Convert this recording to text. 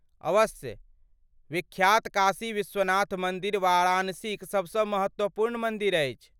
अवश्य, विख्यात काशी विश्वनाथ मन्दिर वाराणसीक सभसँ महत्वपूर्ण मन्दिर अछि।